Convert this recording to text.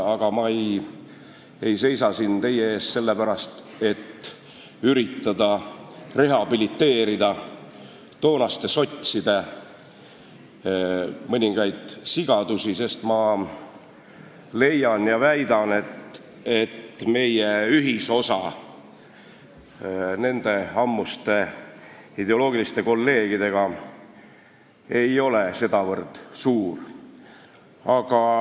Aga ma ei seisa siin teie ees sellepärast, et üritada heaks teha toonaste sotside mõningaid sigadusi, sest ma leian, et meie ühisosa nende ammuste ideoloogiliste kolleegidega ei ole sedavõrd suur.